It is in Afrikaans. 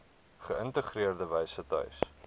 geïntegreerde wyse tuis